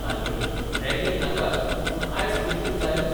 तालगडी ragging नाकाच , पूण ice breaking जायच